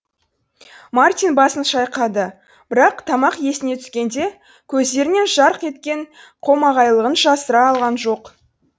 мартин басын шайқады бірақ тамақ есіне түскенде көздерінен жарқ еткен қомағайлығын жасыра алған жоқ